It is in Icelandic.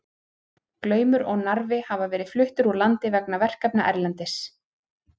Glaumur og Narfi hafa verið fluttir úr landi vegna verkefna erlendis.